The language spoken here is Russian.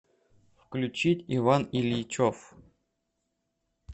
включить иван ильичев